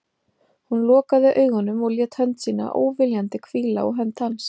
Hún lokaði augunum og lét hönd sína, óviljandi, hvíla á hönd hans.